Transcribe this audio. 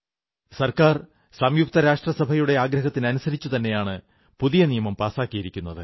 സർക്കാർ സംയുക്തരാഷ്ട്രസഭയുടെ ആഗ്രഹത്തിനനുസരിച്ചുതന്നെയാണ് പുതിയ നിയമം പാസാക്കിയിരിക്കുന്നത്